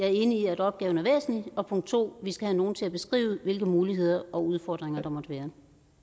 er enig i at opgaven er væsentlig og punkt to at vi skal have nogen til at beskrive hvilke muligheder og udfordringer der måtte være